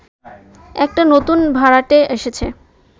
একটা নতুন ভাড়াটে এসেছে